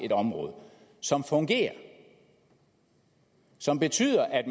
et område som fungerer og som betyder at